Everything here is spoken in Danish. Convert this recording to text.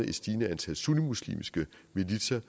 et stigende antal sunnimuslimske militser